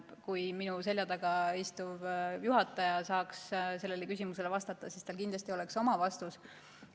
Kui minu selja taga istuv juhataja saaks sellele küsimusele vastata, siis tal kindlasti oleks oma vastus.